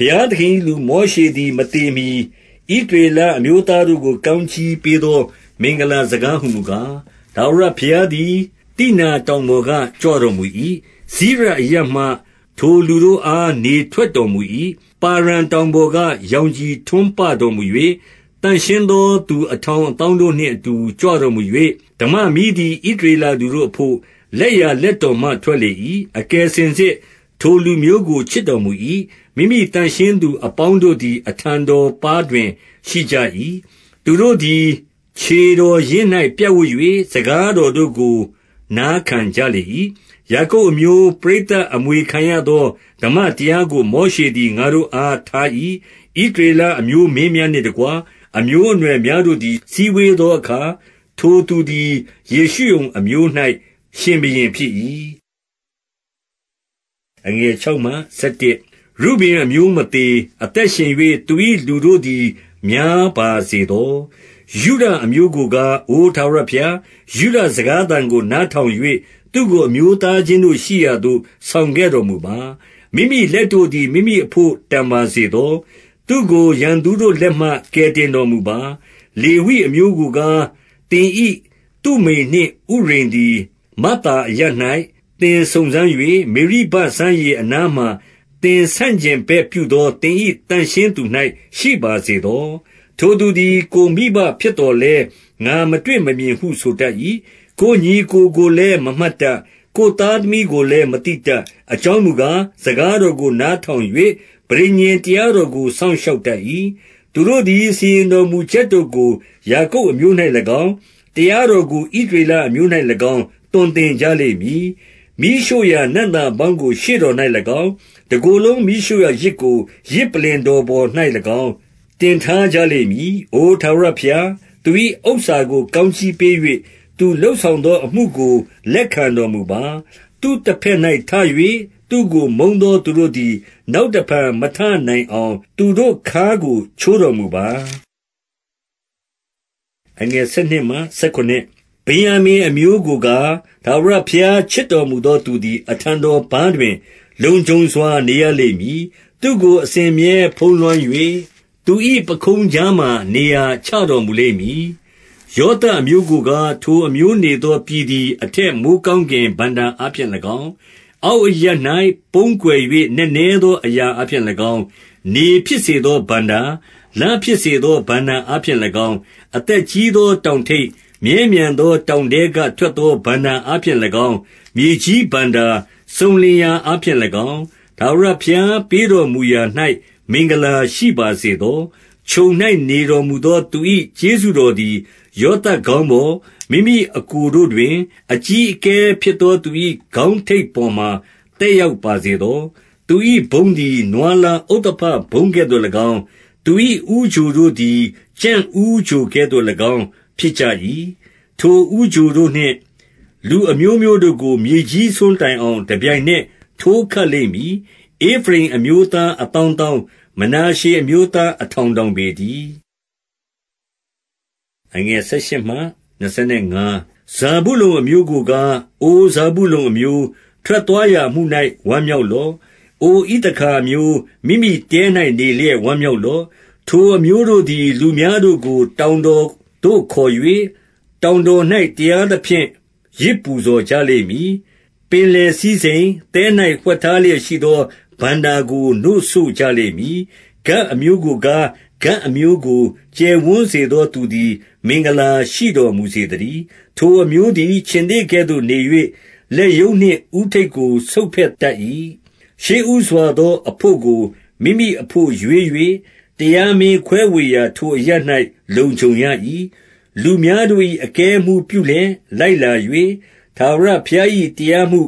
ဘုရားသခင်၏လူမောရှေသည် မသေမှီ ဣသ ရေလအမျိုးသားတို့ကို ကောင်းကြီးပေးသော မင်္ဂလာ စကား ဟူမူကား၊ 2 ထာဝရဘုရားသည် သိနာတောင်ပေါ်က ကြွ တော်မူ၏။ စိရအရပ်မှ ထိုလူတို့အား နေထွက်တော်မူ၏။ ပါရန်တောင်ပေါ်က ရောင်ခြည်ထွန်းပတော်မူ၍၊ သန့် ရှင်းသောသူ အထောင်အသောင်းတို့နှင့်အတူ ကြွတော်မူ ၍၊ ဓမ္မမီးသည် ဣသရေလလူတို့အဘို့၊ လက်ျာလက်တော် မှ ထွက်လေ၏။ 3 အကယ်စင်စစ် ထိုလူမျိုးကို ချစ်တော်မူ၏။ မိမိ သန့်ရှင်းသူအပေါင်းတို့သည် အထံတော်ပါးတွင် ရှိကြ၏။ သူတို့သည် ခြေတော်ရင်း၌ ပြပ်ဝပ်၍ စကားတော်တို့ကို နားခံကြလေ၏။ 4 ယာကုပ်အမျိုး ပရိသတ်အမွေခံရသော ဓမ္မ တရားကို မောရှေသည် ငါတို့အားထား၏။ 5 ဣသရေလအမျိုးမင်းများနှင့်တကွ၊ အမျိုးအ နွယ်များတို့သည် စည်းဝေးသောအခါ၊ ထိုသူသည် ယေရှု ရုန်အမျိုး၌ ရှင်ဘုရင်ဖြစ်၏။ 6 ရုဗင်အမျိုး မသေ၊ အသက်ရှင်၍ သူ၏လူတို့ သည် များပါစေသော။ 7 ယုဒအမျိုးကိုကား၊ အိုထာဝရဘုရား၊ ယုဒစကား သံကို နားထောင်၍ သူ့ကို အမျိုးသားချင်းတို့ရှိရာသို့ ဆောင်ခဲ့တော်မူပါ။ မိမိလက်တို့သည် မိမိအဘို့ တန်ပါ စေသော။ သူ့ကို ရန်သူတို့လက်မှ ကယ်တင်တော်မူပါ။ 8 လေဝိအမျိုးကိုကား၊ သင်၏သုမိမ်နှင့် ဥရိမ် သည် မဿာအရပ်၌ သင်စုံစမ်း၍၊ မေရိဘစမ်းရေ အနားမှာ သင်ဆန့်ကျင်ဘက်ပြုသော သင်၏ သန့်ရှင်းသူ ၌ ရှိပါစေသော၊ 9 ထိုသူသည် ကိုယ်မိဘဖြစ်သော်လည်း ငါမတွေ့ မမြင်ဟု ဆိုတတ်၏။ ကိုယ်ညီအစ်ကို ကိုလည်း မမှတ် တတ်။ ကိုယ်သားသမီးကိုလည်း မသိတတ်။ အကြောင်းမူ ကား၊ စကားတော်ကို နားထောင်၍ ပဋိညာဉ်တရားတော် ကို စောင့်ရှောက်တတ်၏။ 10 သူတို့သည် စီရင်တော်မူချက်တို့ကို ယာကုပ်အ မျိုး၌၎င်း၊ တရားတော်ကို ဣသရေလ အမျိုး၌၎င်း သွန် သင်ကြလိမ့်မည်။ မီးရှို့ရာနံ့သာပေါင်းကို ရှေ့တော်၌၎င်း၊ တကိုယ်လုံး မီးရှို့ရာယဇ်ကို ယဇ်ပလ္လင်တော်ပေါ်၌၎င်း တင်ထားကြလိမ့်မည်။ 11 အိုထားဝရဘုရား၊ သူ၏ဥစ္စာကို ကောင်းကြီးပေး ၍ သူလုပ်ဆောင်သောအမှုကို လက်ခံတော်မူပါ။ သူ့တ ဘက်၌ ထ၍ သူ့ကို မုန်းသောသူတို့သည် နောက်တဖန် မထနိုင်အောင် သူတို့ခါးကို ချိုးတော်မူပါ။ 12 ဗင်္ယာမိန် အမျိုးကိုကား၊ ထာဝရဘုရား ချစ် တော်မူသော သူသည် အထံတော်ပါးတွင် လုံခြုံစွာ နေရ လိမ့်မည်။ သူ့ကို အစဉ်အမြဲ ဖုံးလွှမ်း၍ သူ၏ပခုံးကြားမှာ နေရာချတော်မူလိမ့်မည်။ 13 ယောသပ်အမျိုးကိုကား၊ ထိုအမျိုးနေသော ပြည် သည် အထက်မိုဃ်းကောင်းကင် ဘဏ္ဍာအားဖြင့်၎င်း၊ အောက်အရပ်၌ ပုန်းကွယ်၍ နက်နဲသော အရာအားဖြင့်၎င်း၊ 14 နေဖြစ်စေသော ဘဏ္ဍာ၊ လဖြစ်စေသော ဘဏ္ဍာ အားဖြင့်၎င်း၊ 15 အသက်ကြီးသောတောင်ထိပ်၊ မြဲမြံသောတောင် ထဲက ထွက်သော ဘဏ္ဍာအားဖြင့်၎င်း၊ 16 မြေကြီးဘဏ္ဍာ စုံလင်ရာအားဖြင့်၎င်း၊ ထာဝရ ဘုရားပေးတော်မူရာ၌ မင်္ဂလာရှိပါစေသော။ ချုံ၌နေ တော်မူသောသူ၏ ကျေးဇူးတော်သည် ယောသပ်ခေါင်း ပေါ်၊ မိမိအစ်ကိုတို့တွင် အကြီးအကဲဖြစ်သောသူ၏ ခေါင်း ထိပ်ပေါ်မှာ သက်ရောက်ပါစေသော။ 17 သူ၏ဘုန်းသည် နွားလားဥဿဘဘုန်းကဲ့သို့၎င်း၊ သူ၏ ဦးချိုတို့သည် ကြံ့ဦးချိုကဲ့သို့၎င်း ဖြစ်ကြ၏။ ထိုဦးချို တို့နှင့် လူအမျိုးမျိုးတို့ကို မြေကြီးစွန်းတိုင်အောင် တပြိုင် နက် ထိုးခတ်လိမ့်မည်။ ဧဖရိမ်အမျိုးသား အသောင်း သောင်း၊ မနာရှေအမျိုးသား အထောင်ထောင်ပေတည်း။ 18 ဇာဗုလုန်အမျိုးကိုကား၊ အိုဇာဗုလုန်အမျိုး၊ ထွက် သွားရာအမှု၌ ဝမ်းမြောက်လော့။ အိုဣသခါအမျိုး၊ မိမိ တဲ၌နေလျက် ဝမ်းမြောက်လော့။ 19 ထိုအမျိုးတို့သည် လူများတို့ကို တောင်တော်သို့ ခေါ်၍၊ တောင်တော်၌ တရားသဖြင့် ယဇ်ပူဇော်ကြလိမ့် မည်။ ပင်လယ်စည်းစိမ်၊ သဲ၌ဝှက်ထားလျက်ရှိသော ဘဏ္ဍာကို နို့စို့ကြလိမ့်မည်။ 20 ဂဒ်အမျိုးကိုကား၊ ဂဒ်အမျိုးကို ကျယ်ဝန်းစေ သောသူသည် မင်္ဂလာရှိတော်မူစေသတည်း။ ထိုအမျိုး သည် ခြင်္သေ့ကဲ့သို့နေ၍၊ လက်ရုံးနှင့်ဦးထိပ်ကို ဆုတ်ဖဲ့ တတ်၏။ 21 ရှေ့ဦးစွာသောအဘို့ကို မိမိအဘို့ရွေးယူ၍၊ တရားမင်းခွဲဝေရာ ထိုအရပ်၌ လုံခြုံရ၏။ လူများတို့၏ အကဲအမှူးပြုလျက် လိုက်လာ၍၊ ထာဝရဘုရား၏ တရား မှု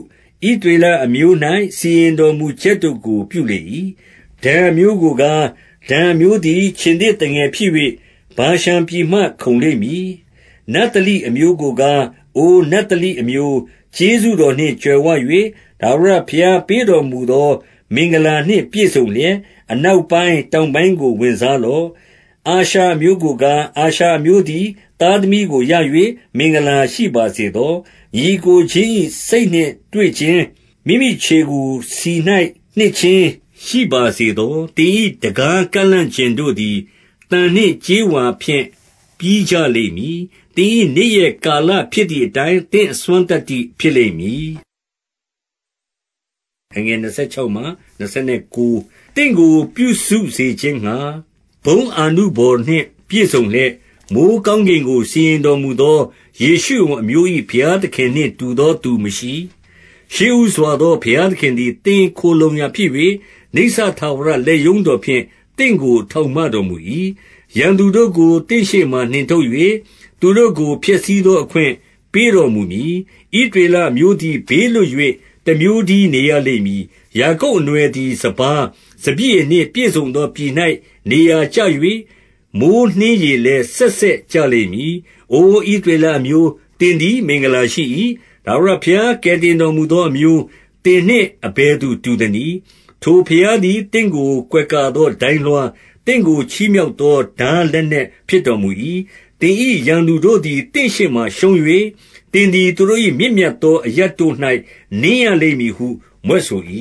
၊ ဣသရေလအမျိုး၌ စီရင်တော်မူချက်တို့ကို ပြုလေ၏။ 22 ဒန်အမျိုးကိုကား၊ ဒန်အမျိုးသည် ခြင်္သေ့သငယ် ဖြစ်၍ ဗာရှန်ပြည်မှ ခုန်လိမ့်မည်။ 23 နဿလိအမျိုးကိုကား၊ အိုနဿလိအမျိုး၊ ကျေး ဇူးတော်နှင့်ကြွယ်ဝ၍၊ ထာဝရဘုရားပေးတော်မူသော မင်္ဂလာနှင့် ပြည့်စုံလျက်၊ အနောက်ပိုင်း၊ တောင်ပိုင်းကို ဝင်စားလော့။ 24 အာရှာအမျိုးကိုကား၊ အာရှာအမျိုးသည် သား သမီးကိုရ၍ မင်္ဂလာရှိပါစေသော။ ညီအစ်ကိုချင်း၏ စိတ် နှင့်တွေ့ခြင်း၊ မိမိခြေကို ဆီ၌နှစ်ခြင်း ရှိပါစေသော။ 25 သင်၏တံခါးကန့်လန့်ကျင်တို့သည် သံနှင့်ကြေး ဝါဖြင့် ပြီးကြလိမ့်မည်။ သင်၏နေ့ရက်ကာလဖြစ်သည် အတိုင်း သင့်အစွမ်းသတ္တိဖြစ်လိမ့်မည်။ 26 သင့်ကို ပြုစုစေခြင်းငှါ ဘုန်းအာနုဘော်နှင့် ပြည့်စုံ လျက်၊ မိုဃ်းကောင်းကင်ကို စီးတော်မူသော ယေရှုရုန် အမျိုး၏ ဘုရားသခင်နှင့် တူသောသူမရှိ။ 27 ရှေ့ဦးစွာသောဘုရားသခင်သည် သင့်ခိုလှုံရာ ဖြစ်၍၊ နိစ္စထာဝရ လက်ရုံးတော်ဖြင့် သင့်ကို ထောက်မ တော်မူ၏။ ရန်သူတို့ကို သင့်ရှေ့မှ နှင်ထုတ်၍ သူတို့ကို ဖျက်ဆီးသောအခွင့် ပေးတော်မူမည်။ 28 ဣသရေလအမျိုးသည် ဘေးလွတ်၍ တမျိုး တည်း နေရလိမ့်မည်။ ယာကုပ်အနွယ်သည် စပါး၊ စပျစ် ရည်နှင့်ပြည့်စုံသောပြည်၌ နေရာကျ၍၊ မိုဃ်းနှင်းရည် လည်း စက်စက်ကျလိမ့်မည်။ 29 အိုဣသရေလအမျိုး၊ သင်သည် မင်္ဂလာရှိ၏။ ထာဝရဘုရား ကယ်တင်တော်မူသောအမျိုး၊ သင်နှင့်အ ဘယ်သူတူသနည်း။ ထိုဘုရားသည် သင့်ကို ကွယ်ကာ သော ဒိုင်းလွှား၊ သင့်ကို ချီးမြှောက်သော ထားလက်နက် ဖြစ်တော်မူ၏။ သင်၏ ရန်သူတို့သည် သင့်ရှေ့မှာရှုံး၍၊ သင်သည် သူတို့၏ မြင့်မြတ်သောအရပ်တို့၌ နင်းရလိမ့် မည်ဟု မြွက်ဆို၏။